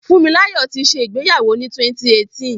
Fúnmilọ́là ti ṣẹ ìgbéyàwó ni 2018.